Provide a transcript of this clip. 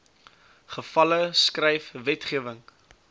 gevalle skryf wetgewing